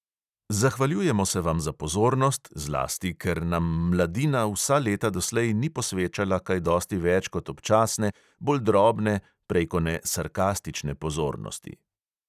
Zahvaljujemo se vam za pozornost, zlasti, ker nam mladina vsa leta doslej ni posvečala kaj dosti več kot občasne, bolj drobne, prejkone sarkastične pozornosti.